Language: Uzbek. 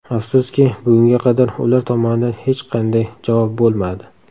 Afsuski, bugunga qadar ular tomonidan hech qanday javob bo‘lmadi.